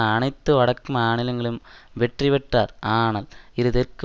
அனைத்து வடக்கு மானிலங்கலும் வெற்றி பெற்றார் ஆனால் இரு தெற்கு